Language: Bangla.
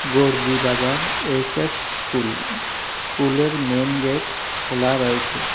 গরজি বাজার এইচ_এস স্কুল স্কুলের মেন গেট খোলা রয়েছে।